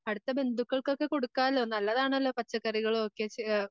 അടുത്ത ബന്ധുക്കൾകൊക്കെ കൊടുക്കാലോ നല്ലതാണല്ലോ പച്ചക്കറികളും ഒക്കെ